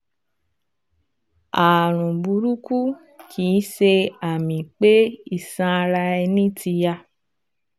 Ààrùn burúkú kìí ṣe àmì pé iṣan ara ẹni ti ya